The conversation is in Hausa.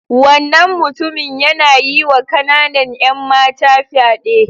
Wannan mutumin yana yiwa kananan 'yan mata fyade.